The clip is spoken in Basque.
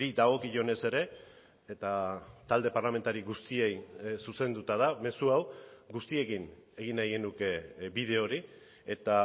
dagokionez ere eta talde parlamentari guztiei zuzenduta da mezu hau guztiekin egin nahi genuke bide hori eta